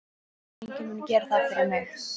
Enginn mun gera það fyrir mig.